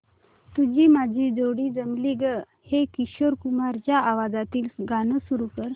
तुझी माझी जोडी जमली गं हे किशोर कुमारांच्या आवाजातील गाणं सुरू कर